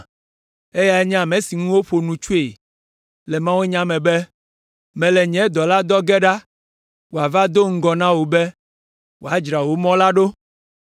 Eyae nye ame si ŋu woƒo nu tsoe le mawunya me be, “ ‘Mele nye dɔla dɔ ge ɖa wòava do ŋgɔ na wò be, wòadzra wò mɔ la ɖo.’